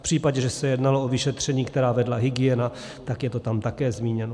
V případě, že se jednalo o vyšetření, která vedla hygiena, tak je to tam také zmíněno.